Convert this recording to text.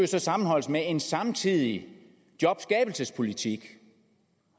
så sammenholdes med en samtidig jobskabelsespolitik